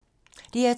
DR2